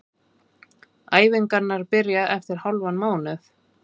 Æfingarnar byrja eftir hálfan mánuð.